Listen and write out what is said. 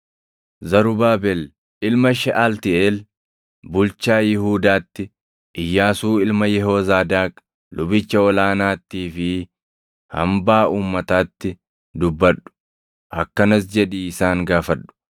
“Zarubaabel ilma Sheʼaltiiʼeel bulchaa Yihuudaatti, Iyyaasuu ilma Yehoozaadaaq lubicha ol aanaattii fi hambaa uummataatti dubbadhu. Akkanas jedhii isaan gaafadhu;